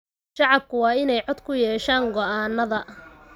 Shacabku waa in ay cod ku yeeshaan go�aannada.